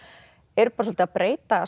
er svolítið að breyta